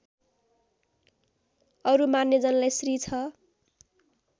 अरू मान्यजनलाई श्री ६